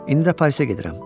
İndi də Parisə gedirəm.